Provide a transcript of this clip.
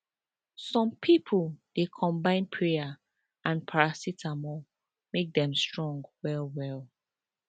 some pipo dey combine prayer and paracetamol make dem strong well well